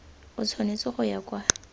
o tshwanetse go ya kwa